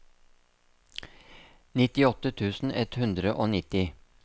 nittiåtte tusen ett hundre og nitti